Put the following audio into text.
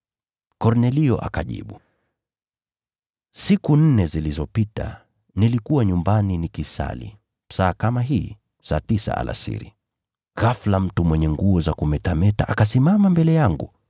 Kornelio akajibu, “Siku nne zilizopita, nilikuwa nyumbani nikisali saa kama hii, saa tisa alasiri. Ghafula mtu aliyevaa nguo zilizongʼaa akasimama mbele yangu,